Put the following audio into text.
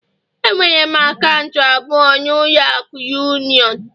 Enwere m akaụntụ abụọ na ụlọ akụ union